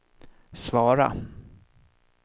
svara